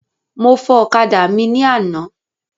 Mo fọ ọ̀kadà mi ní àná.